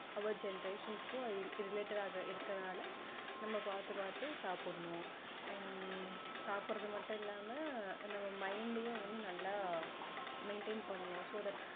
our generations க்கு அது related டா இருக்கிறதுனால நம்ம பார்த்து பார்த்து சாப்பிடணும் and சாப்பிடுறது மட்டும் இல்லாம நம்ம mind டையும் வந்து நல்லா maintain பண்ணணும் so that